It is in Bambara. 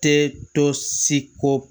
Tɛ to se ko